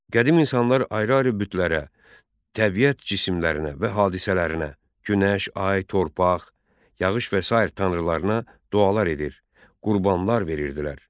Qədim insanlar ayrı-ayrı bütlərə, təbiət cisimlərinə və hadisələrinə, günəş, ay, torpaq, yağış və sair tanrılarına dualar edir, qurbanlar verirdilər.